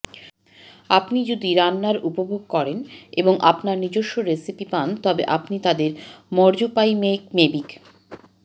আপনি যদি রান্নার উপভোগ করেন এবং আপনার নিজস্ব রেসিপি পান তবে আপনি তাদের ময়ুর্যাপাইপমেগিক